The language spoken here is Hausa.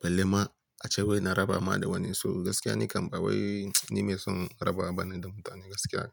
Balle ma a ce wai na raba ma da wani, so gaskiya ni kam ba wai ni mai son raba bana da mutane gaskiya.